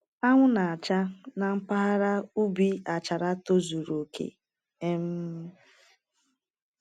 Anwụ na-acha na mpaghara ubi Achara tozuru oke. um